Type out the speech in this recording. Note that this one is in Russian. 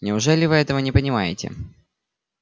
неужели вы этого не понимаете